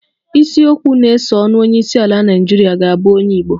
Isiokwu na-esonụ Onyeisiala Naịjirịa ga-abụ onye Igbo